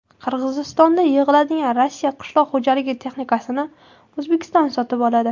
Qirg‘izistonda yig‘iladigan Rossiya qishloq xo‘jaligi texnikasini O‘zbekiston sotib oladi.